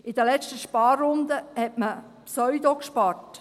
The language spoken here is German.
In den letzten Sparrunden hat man «pseudogespart».